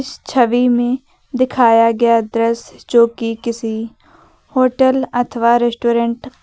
इस छवि में दिखाया गया दृश्य जो कि किसी होटल अथवा रेस्टोरेंट का--